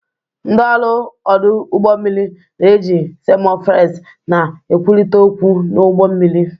Ndị ọrụ ọdụ ụgbọ mmiri na-eji semaphores na-ekwurịta okwu n'ụgbọ mmiri.